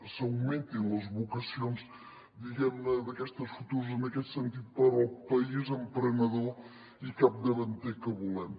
s’augmentin les vocacions aquestes futures en aquest sentit per al país emprenedor i capdavanter que volem